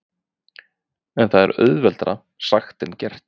En það er auðveldara sagt en gert.